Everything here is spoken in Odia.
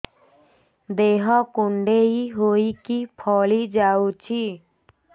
ଦେହ କୁଣ୍ଡେଇ ହେଇକି ଫଳି ଯାଉଛି